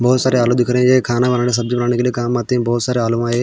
बोहोत सारे आलू दिख रहे है खाना बनाना सब्जी बनाने के लिए काम आते है बोहोत सारे आलू है ये।